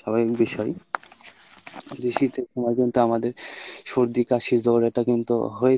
স্বাভাবিক বিষয় জি শীতের সময় কিন্তু আমাদের সর্দি কাশি জ্বর এটা কিন্তু হয়েই